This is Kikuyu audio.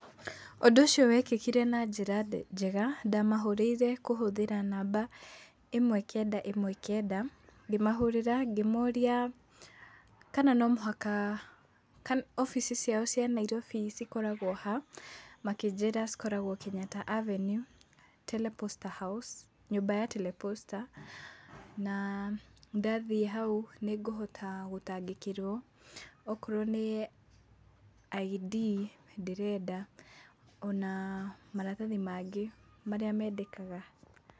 Ũndũ ũcio wekĩkire na njĩra njega, ndamahũrĩire kũhũthĩra namba ĩmwe-kenda-ĩmwe-kenda, ngĩmahũrĩra ngĩmoria kana no mũhaka, obici ciao cia Nairobi cikoragwo ha. Makĩnjĩra cikoragwo Kenyatta Avenue, Teleposta House, nyũmba ya Telesposta na ndathiĩ hau nĩ ngũhota gũtangĩkĩrwo, okorwo nĩ ID ndĩrenda ona maratathi mangĩ marĩa mendekaga.